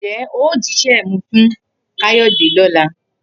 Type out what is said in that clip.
Ǹjé̩ o ó jísé̩ mi fún Káyó̩dè ló̩la?